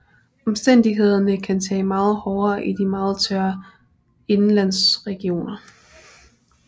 Omstændighederne kan være meget hårdere i de meget tørre indenlandsregioner